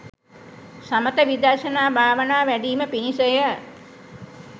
සමථ විදර්ශනා භාවනා වැඞීම පිණිස ය.